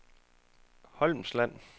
Holmsland